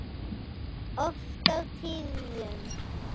Oft á tíðum.